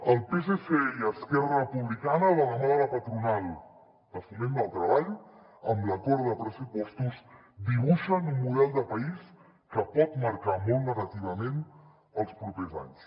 el psc i esquerra republicana de la mà de la patronal de foment del treball amb l’acord de pressupostos dibuixen un model de país que pot marcar molt negativament els propers anys